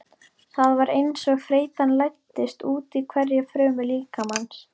Það var einsog þreytan læddist útí hverja frumu líkamans.